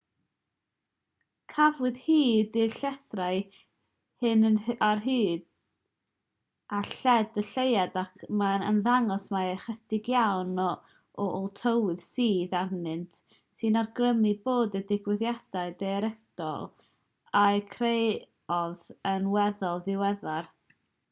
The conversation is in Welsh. cafwyd hyd i'r llethrau hyn ar hyd a lled y lleuad ac mae'n ymddangos mai ychydig iawn o ôl tywydd sydd arnynt sy'n awgrymu bod y digwyddiadau daearegol a'u creodd yn weddol ddiweddar